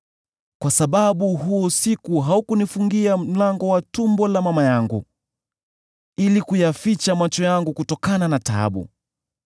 kwa sababu huo usiku haukunifungia mlango wa tumbo la mama yangu, ili kuyaficha macho yangu kutokana na taabu.